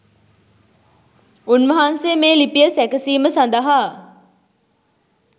උන් වහන්සේ මේ ලිපිය සැකසීම සඳහා